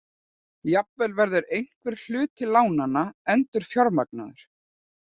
Jafnvel verður einhver hluti lánanna endurfjármagnaður